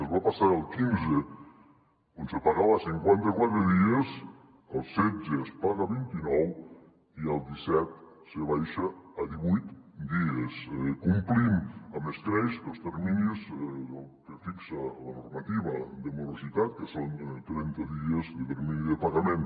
es va passar del quinze on se pagava a cinquanta quatre dies el setze es paga a vint i nou i el disset se baixa a divuit dies complint amb escreix els terminis que fixa la normativa de morositat que són trenta dies de termini de pagament